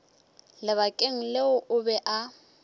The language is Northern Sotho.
lebakeng leo o be a